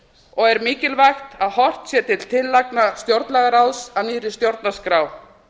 og er mikilvægt að horft sé til tillagna stjórnlagaráðs að nýrri stjórnarskrá